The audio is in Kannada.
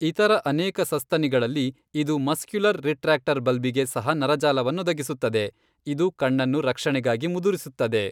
ಇತರ ಅನೇಕ ಸಸ್ತನಿಗಳಲ್ಲಿ, ಇದು ಮಸ್ಕ್ಯುಲಸ್ ರಿಟ್ರಾಕ್ಟರ್ ಬಲ್ಬಿಗೆ ಸಹ ನರಜಾಲವನ್ನೊದಗಿಸುತ್ತದೆ, ಇದು ಕಣ್ಣನ್ನು ರಕ್ಷಣೆಗಾಗಿ ಮುದುರಿಸುತ್ತದೆ.